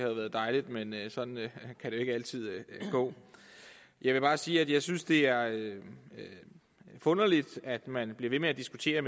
været dejligt men sådan kan det ikke altid gå jeg vil bare sige at jeg synes det er forunderligt at man bliver ved med at diskutere